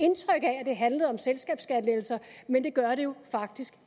det handlede om selskabsskattelettelser men det gør det jo faktisk